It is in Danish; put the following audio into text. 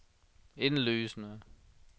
indlysende